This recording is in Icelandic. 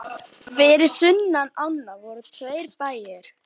Fyrir sunnan ána voru tveir bæir.